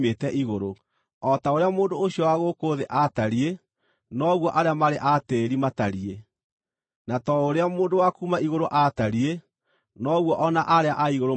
O ta ũrĩa mũndũ ũcio wa gũkũ thĩ aatariĩ, noguo arĩa marĩ a tĩĩri matariĩ; na ta ũrĩa mũndũ wa kuuma igũrũ aatariĩ, noguo o na arĩa a igũrũ matariĩ.